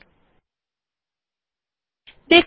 hobbyওডিটি বিকল্প এ ক্লিক করে ওপেন বিকল্পে ক্লিক করুন